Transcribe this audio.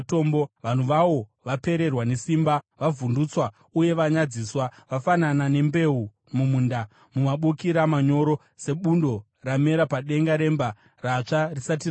Vanhu vawo, vapererwa nesimba, vavhundutswa uye vanyadziswa. Vafanana nembeu mumunda, namabukira manyoro, sebundo ramera padenga remba, ratsva risati rakura.